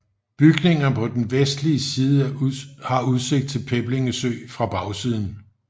Bygningerne på den vestlige side har udsigt til Peblinge Sø fra bagsiden